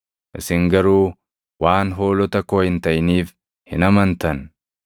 Isin garuu waan hoolota koo hin taʼiniif hin amantan.